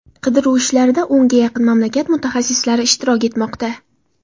Qidiruv ishlarida o‘nga yaqin mamlakat mutaxassislari ishtirok etmoqda.